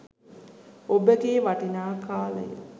ඔබගේ වටිනා කාලය